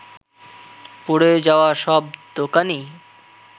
পুড়ে যাওয়া সব দোকানই